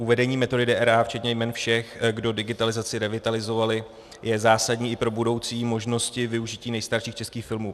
Uvedení metody DRA včetně jmen všech, kdo digitalizaci realizovali, je zásadní i pro budoucí možnosti využití nejstarších českých filmů.